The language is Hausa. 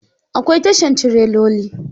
Akwai tashan tireloli.